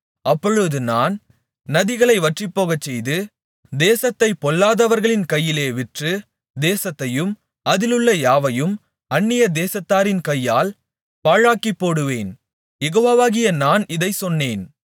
அப்பொழுது நான் நதிகளை வற்றிப்போகச்செய்து தேசத்தைப் பொல்லாதவர்களின் கையிலே விற்று தேசத்தையும் அதிலுள்ள யாவையும் அந்நிய தேசத்தாரின் கையால் பாழாக்கிப்போடுவேன் யெகோவாகிய நான் இதைச் சொன்னேன்